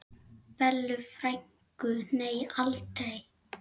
Bellu frænku, nei aldrei.